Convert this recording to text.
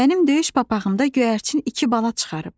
Mənim döyüş papağımda göyərçin iki bala çıxarıb.